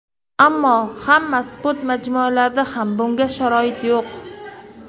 Ammo hamma sport majmualarida ham bunga sharoit yo‘q.